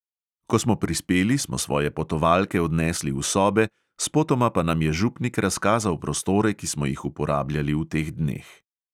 Ko smo prispeli, smo svoje potovalke odnesli v sobe, spotoma pa nam je župnik razkazal prostore, ki smo jih uporabljali v teh dneh.